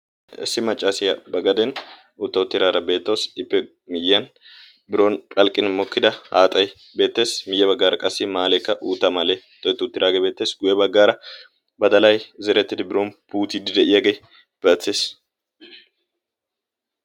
Issi maccaasiyaa bagaden uutta uttiraara beettoosi ippe miyyiyan biron phalqqin mokkida haaxay beettees. miyye baggaara qassi maaleekka uutta mala xo'etti uttiraagee beettees. guyye baggaara badalai zerettidi biron puutiidi de'iyaagee beettees.